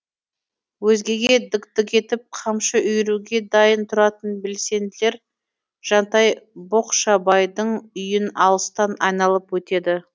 өзгеге дік дік етіп қамшы үйіруге дайын тұратын белсенділер жантай боқшабайдың үйін алыстан айналып өтеді